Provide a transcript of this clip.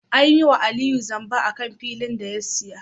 An yiwa Aliyu zamba akan filin da ya siya